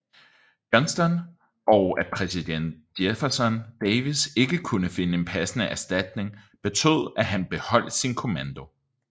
Johnston og at præsident Jefferson Davis ikke kunne finde en passende erstatning betød at han beholdt sin kommando